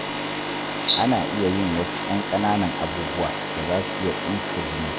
Ana iya yin wasu ƴan ƙananan abubuwa da za su iya tsinka jini.